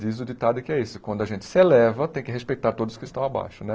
Diz o ditado que é isso, quando a gente se eleva, tem que respeitar todos que estão abaixo, né?